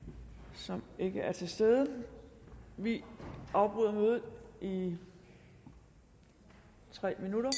som ikke er til stede vi afbryder mødet i tre minutter